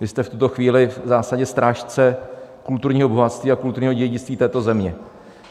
Vy jste v tuto chvíli v zásadě strážce kulturního bohatství a kulturního dědictví této země.